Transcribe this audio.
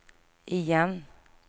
igen